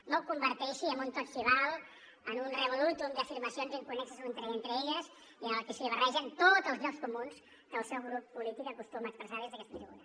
no ho converteixi en un tot s’hi val en un revolutum d’afirmacions inconnexes entre elles i en el que s’hi barregen tots els llocs comuns que el seu grup polític acostuma a expressar des d’aquesta tribuna